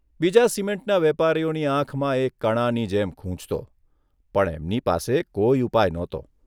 બીજા સિમેન્ટના વેપારીઓની આંખમાં એ કણાની જેમ ખૂંચતો પણ એમની પાસે કોઇ ઉપાય નહોતો.